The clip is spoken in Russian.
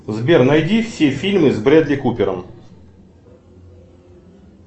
сбер найди все фильмы с брэдли купером